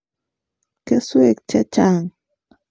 kesweek che chang'